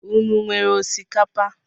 Ụnụ wéré osikapa?